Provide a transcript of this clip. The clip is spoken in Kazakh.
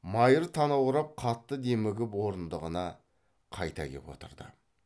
майыр танаурап қатты демігіп орындығына қайта кеп отырды